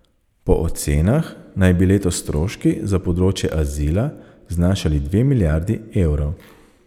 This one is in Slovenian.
Po ocenah naj bi letos stroški za področje azila znašali dve milijardi evrov.